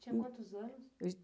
Tinha quantos anos? Eu